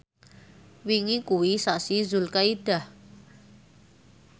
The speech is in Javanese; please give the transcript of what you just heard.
wingi kuwi sasi Zulkaidah